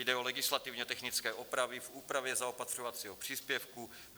Jde o legislativně technické opravy v úpravě zaopatřovacího příspěvku.